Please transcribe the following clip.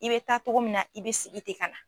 I bɛ taa togo min na i bɛ segin ten ka na.